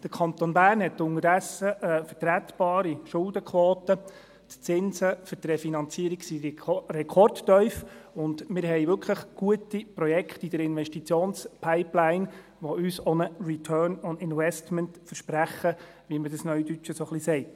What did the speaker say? Der Kanton Bern hat unterdessen eine vertretbare Schuldenquote, die Zinsen für die Refinanzierung sind rekordtief, und wir haben wirklich gute Projekte in der Investitionspipeline, die uns auch einen Return on Investment versprechen, wie man dies Neudeutsch so sagt.